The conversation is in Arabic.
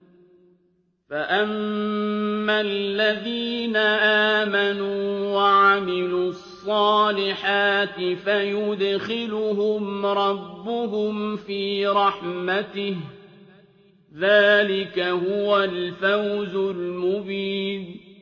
فَأَمَّا الَّذِينَ آمَنُوا وَعَمِلُوا الصَّالِحَاتِ فَيُدْخِلُهُمْ رَبُّهُمْ فِي رَحْمَتِهِ ۚ ذَٰلِكَ هُوَ الْفَوْزُ الْمُبِينُ